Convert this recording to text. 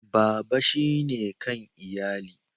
Baba shine kan iyali.